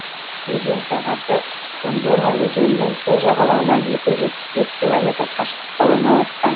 өзен сағасы кондома өзенінің сол жағалауынан екі жүз жетпіс бес километр қашықтықта орналасқан